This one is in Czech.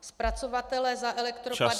Zpracovatelé za elektroodpady -